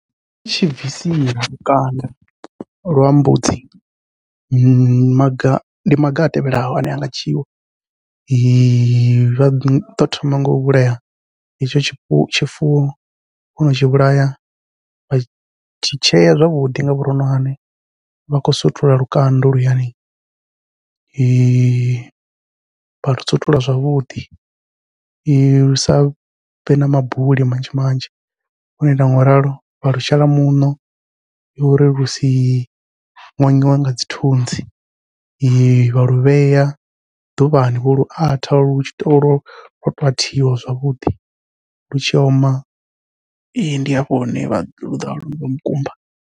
I tshi bvisiwa lukanda lwa mbudzi maga ndi maga a tevhelaho ane anga dzhiiwa vha ḓo thoma ngau vhulaya hetsho tshifuwo, wono tshi vhulaya vha tshi tshea zwavhuḓi nga vhuroṅwane vha khou sutula lukanda holuyani . Vha lu sutula zwavhuḓi lu savhe na mabuli manzhi vho no ita ngauralo vha lu shela muṋo, uri lu si ṅoṅiwe nga dzi thunzi vha lu vhea ḓuvhani vho lu atha lu tshi to lo athiwa zwavhuḓi lu tshi oma ndi hafho hune vha ḓa mukumba.